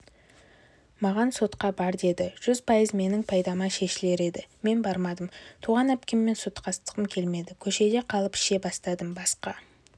маған сотқа бар деді жүз пайыз менің пайдама шешілер еді мен бармадым туған әпкеммен соттасқым келмеді көшеде қалып іше бастадым басқа